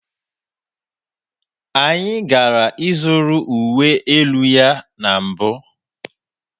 Anyị gara ịzụrụ uwe elu ya na mbụ.